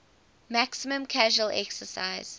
maximum casual excise